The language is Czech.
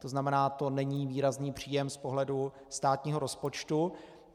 To znamená, zo není výrazný příjem z pohledu státního rozpočtu.